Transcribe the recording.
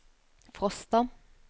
Frosta